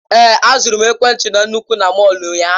Èé, azụrụ m ekwentị na nnukwu na mọll ụnyaahụ.